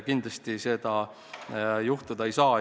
Kindlasti seda juhtuda ei saa.